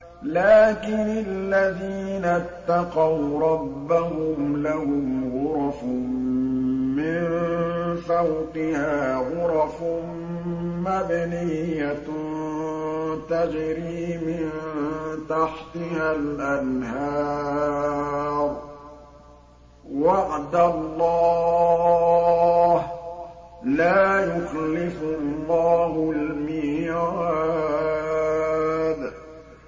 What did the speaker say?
لَٰكِنِ الَّذِينَ اتَّقَوْا رَبَّهُمْ لَهُمْ غُرَفٌ مِّن فَوْقِهَا غُرَفٌ مَّبْنِيَّةٌ تَجْرِي مِن تَحْتِهَا الْأَنْهَارُ ۖ وَعْدَ اللَّهِ ۖ لَا يُخْلِفُ اللَّهُ الْمِيعَادَ